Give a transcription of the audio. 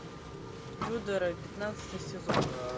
тюдоры пятнадцатый сезон